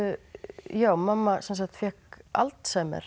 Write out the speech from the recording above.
já mamma sem sagt fékk Alzheimer